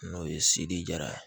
N'o ye sedi ja ye